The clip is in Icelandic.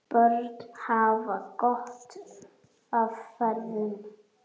Börn hafa gott af feðrum.